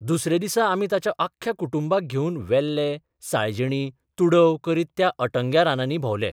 दुसऱ्या दिसा आमी ताच्या आख्ख्या कुटुंबाक घेवन वेलें, साळजिणी, तुडव करीत त्या अटंग्या रानांनी भोंवले.